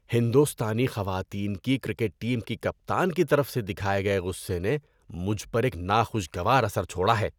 ہندوستانی خواتین کی کرکٹ ٹیم کی کپتان کی طرف سے دکھائے گئے غصے نے مجھ پر ایک ناخوشگوار اثر چھوڑا ہے۔